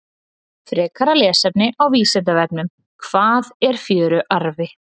Frekara lesefni á Vísindavefnum: Hvað er fjöruarfi?